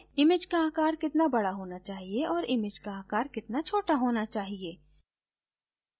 image का आकार कितना बडा होना चाहिए और image का आकार कितना छोटा होना चाहिए